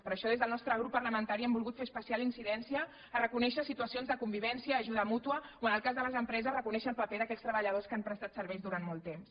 per això des del nostre grup parlamentari hem volgut fer especial incidència a reconèixer situacions de convivència ajuda mútua o en el cas de les empreses reconèixer el paper d’aquells treballadors que han prestat serveis durant molt temps